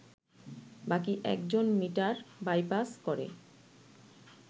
বাকি একজন meter bypass করে